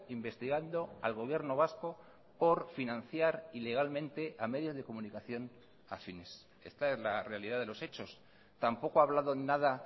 investigando al gobierno vasco por financiar ilegalmente a medios de comunicación afines esta es la realidad de los hechos tampoco ha hablado nada